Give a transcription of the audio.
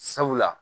Sabula